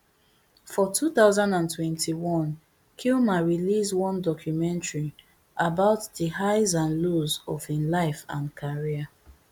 for two thousand and twenty-one kilmer release one documentary about di highs and lows of im life and career